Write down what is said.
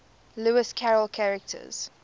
lewis carroll characters